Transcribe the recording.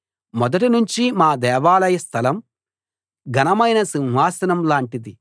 మొదటి నుంచి మా దేవాలయ స్థలం ఘనమైన సింహాసనం లాంటిది